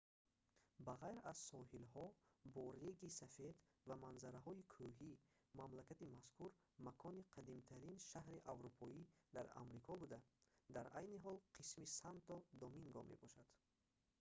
ба ғайр аз соҳилҳо бо реги сафед ва манзараҳои кӯҳӣ мамлакати мазкур макони қадимтарин шаҳри аврупоӣ дар амрико буда дар айни ҳол қисми санто доминго мебошад